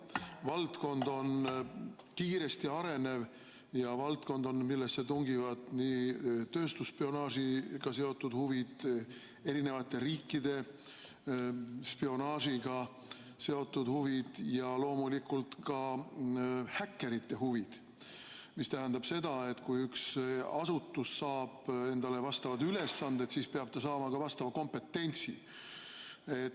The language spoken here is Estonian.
See on kiiresti arenev valdkond, millesse tungivad nii tööstusspionaažiga seotud huvid, erinevate riikide spionaažiga seotud huvid ja loomulikult ka häkkerite huvid, mis tähendab seda, et kui üks asutus saab endale vastavad ülesanded, siis peab ta saama ka vastava kompetentsi.